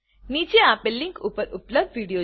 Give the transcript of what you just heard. નીચે આપેલ લીંક ઉપર ઉપલબ્ધ વિડીઓ જુઓ